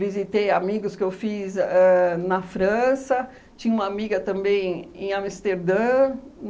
visitei amigos que eu fiz ãh na França, tinha uma amiga também em Amsterdã.